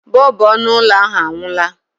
Bọlbụ ọnụ ụlọ ahụ anwụọla.